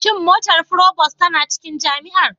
Shin motar provost tana cikin jami'ar?